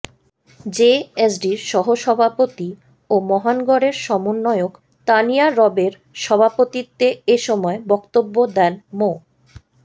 জেএসডির সহসভাপতি ও মহানগরের সমন্বয়ক তানিয়া রবের সভাপতিত্বে এ সময় বক্তব্য দেন মো